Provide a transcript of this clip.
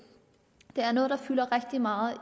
det er noget der fylder rigtig meget i